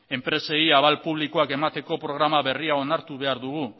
enpresei abal publikoak emateko programa berria onartu behar dugu